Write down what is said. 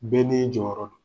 Bɛɛ n'i jɔyɔrɔ don.